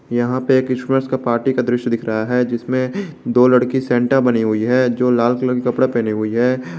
यहां पे क्रिसमस का पार्टी का दृश्य दिख रहा है जिसमें दो लड़की सेंटा बनी हुई है जो लाल कलर कपड़ा पहने हुई है।